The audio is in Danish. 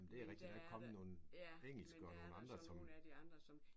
Men der er der ja men der er der så nogle af de andre som